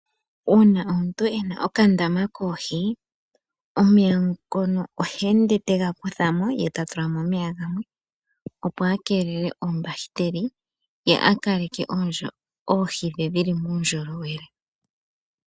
Uuna omuntu ena okandama koohi omeya ngono ohende tega kuthamo yetatulamo gamwe opo akelele oombahiteli ye akaleke oohi dhe dhili muundjolowele.